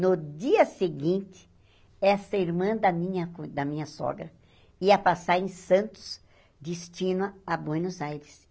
No dia seguinte, essa irmã da minha cun da sogra ia passar em Santos, destino a Buenos Aires.